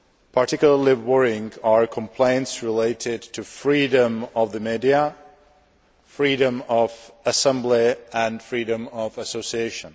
Particularly worrying are complaints related to freedom of the media, freedom of assembly and freedom of association.